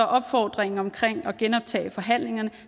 opfordringen omkring at genoptage forhandlingerne